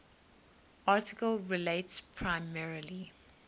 article relates primarily